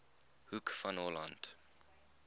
hoek van holland